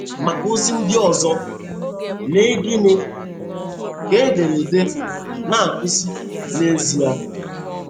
Maka ozi ndị ọzọ, lee Gịnị ka ederede na-akụzi n'ezie?